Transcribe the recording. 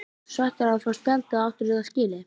Ertu svekktur með að fá spjaldið eða áttirðu það skilið?